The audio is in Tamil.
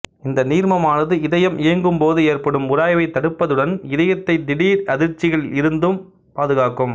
இந்த நீர்மமானது இதயம் இயங்கும்போது ஏற்படும் உராய்வைத் தடுப்பதுடன் இதயத்தைத் திடீர் அதிர்ச்சிகளில் இருந்தும் பாதுகாக்கும்